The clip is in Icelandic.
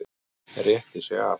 Rétti sig af.